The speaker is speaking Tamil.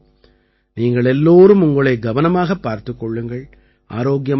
நீங்கள் எல்லோரும் உங்களை கவனமாகப் பார்த்துக் கொள்ளுங்கள் ஆரோக்கியமாக இருங்கள்